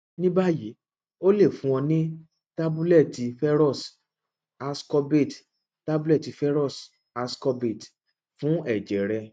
nibayi o le fun ọ ni tabulẹti ferrous ascorbate tabulẹti ferrous ascorbate fun ẹjẹ rẹ